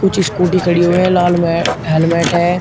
कुछ स्कूटी ख़डी हुई है लाल में हेलमेट है।